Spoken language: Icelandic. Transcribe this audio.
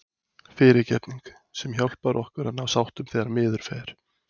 FYRIRGEFNING- sem hjálpar okkur að ná sáttum þegar miður fer.